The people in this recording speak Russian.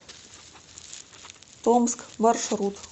томск маршрут